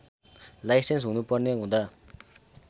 licence हुनुपर्ने हुँदा